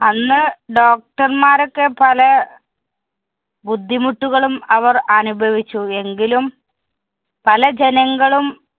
അന്ന് doctor മാരൊക്കെ പല ബുദ്ധിമുട്ടുകളും അവര്‍ അനുഭവിച്ചു. എങ്കിലും പല ജനങ്ങളും